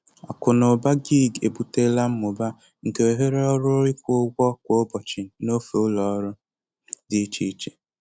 Akụ na ụba gig ebutela mmụba nke ohere ọrụ ịkwụ ụgwọ kwa ụbọchị n'ofe ụlọ ọrụ dị iche iche.